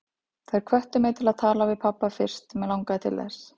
Þær hvöttu mig til að tala við pabba fyrst mig langaði til þess.